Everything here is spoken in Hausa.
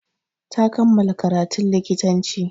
Ta kammala karatun likitanci.